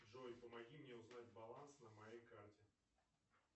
джой помоги мне узнать баланс на моей карте